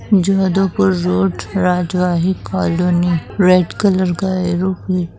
Jodhpur road राजवाही colony red colour का arrow भी--